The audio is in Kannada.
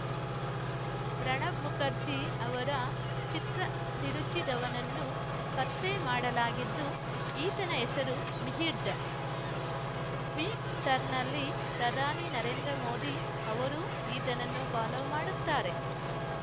ಪ್ರಣಬ್‌ ಮುಖರ್ಜಿ ಅವರ ಚಿತ್ರ ತಿರುಚಿದವನನ್ನು ಪತ್ತೆ ಮಾಡಲಾಗಿದ್ದು ಈತನ ಹೆಸರು ಮಿಹಿರ್‌ ಝಾ ಟ್ವೀಟರ್‌ನಲ್ಲಿ ಪ್ರಧಾನಿ ನರೇಂದ್ರ ಮೋದಿ ಅವರೂ ಈತನನ್ನು ಫಾಲೋ ಮಾಡುತ್ತಾರೆ